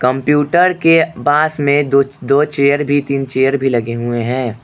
Computer के पास में दो दो चेयर भी तीन चेयर भी लगे हुए हैं।